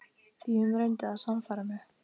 Því hún reyndi að sannfæra mig.